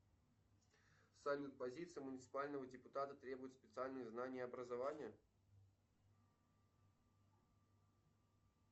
салют позиция муниципального депутата требует специальные знания и образование